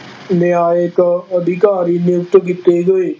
ਨਿਆਂਇਕ ਅਧਿਕਾਰੀ ਨਿਯੁਕਤ ਕੀਤੇ ਗਏ।